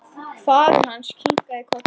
Komdu þér svo í sund.